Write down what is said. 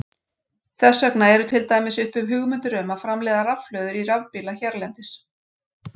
Þess vegna eru til dæmis uppi hugmyndir um að framleiða rafhlöður í rafbíla hérlendis.